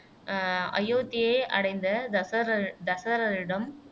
அஹ் அயோத்தியை அடைந்த தசரத தசரதனிடம்